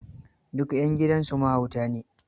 Duk 'yan gidansu mahauta ne.